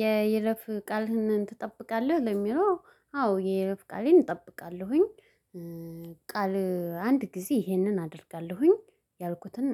የይለፍ ቃልህን ትጠብቃለህ? ለሚለው አዎ የይለፍ ቃሌን እጠብቃለሁኝ። ቃል አንድ ጊዜ ይሄንን አደርጋለሁኝ ያልኩትን